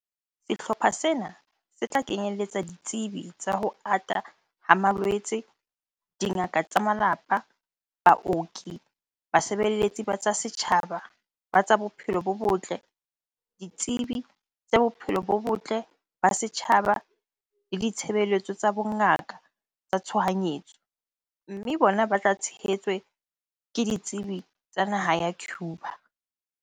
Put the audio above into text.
Sehlopha sena se tla kenyeletsa ditsebi tsa ho ata ha malwetse, dingaka tsa malapa, baoki, basebeletsi ba tsa setjhaba ba tsa bophelo bo botle, ditsebi tsa bophelo bo botle ba setjhaba le ditshebeletso tsa bongaka tsa tshohanyetso, mme bona ba tla tshehetswe ke ditsebi tsa naha ya Cuba.